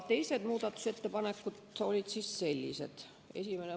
Teised muudatusettepanekud olid sellised.